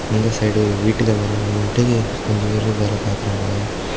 இந்த சைடு வீட்டுக்கு மேல நின்னுட்டு கொஞ்சம் பேர் வேல பாக்குறாங்க.